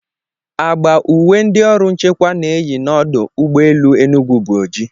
Agba uwe ndị ọrụ nchekwa na-eyi n'ọdụ ụgbọ elu Enugwu bụ oji.